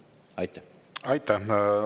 Aitäh!